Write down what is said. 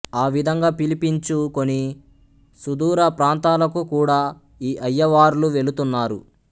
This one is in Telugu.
ఆ విధంగా పిలిపించు కొని సుధూర ప్రాంతాలకు కూడా ఈ అయ్యవార్లు వెళుతున్నారు